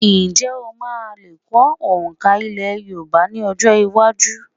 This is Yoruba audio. Ǹjẹ́ o lmáa lè kọ́ òǹkà èdè Yorùbá ní ọjọ́-iwájú?